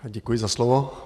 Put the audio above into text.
Děkuji za slovo.